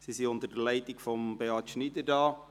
Sie sind unter der Leitung von Beat Schneider hier.